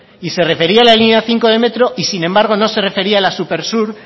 y se refería a la línea cinco de metro y sin embargo no se refería a la supersur